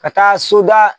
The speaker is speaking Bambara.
Ka taa soda